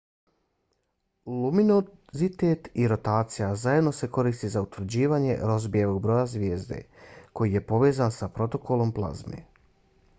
luminozitet i rotacija zajedno se koriste za utvrđivanje rozbijevog broja zvijezde koji je povezan sa protokom plazme